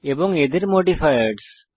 এবং এদের মডিফায়ার্স